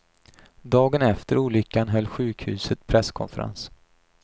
Dagen efter olyckan höll sjukhuset presskonferens.